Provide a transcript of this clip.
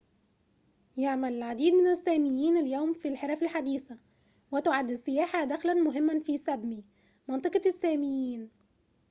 يعمل العديد من الساميين اليوم في الحرف الحديثة وتُعد السياحة دخلًا مهماً في سابمي منطقة الساميين